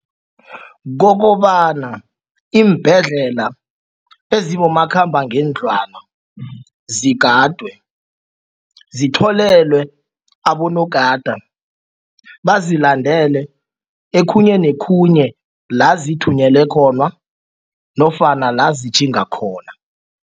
Kokobana iimbhedlela ezibomakhambangendlwana zigadwe zitholelwe abonogada bazilandele okhunye nokhunye la zithunyelwe khona nofana la zitjhinga khona.